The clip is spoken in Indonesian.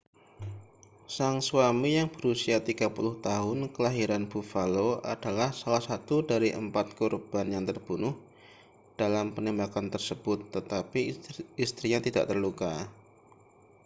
sang suami yang berusia 30 tahun kelahiran buffalo adalah salah satu dari empat korban yang terbunuh dalam penembakan tersebut tetapi istrinya tidak terluka